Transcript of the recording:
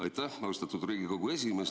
Aitäh, austatud Riigikogu esimees!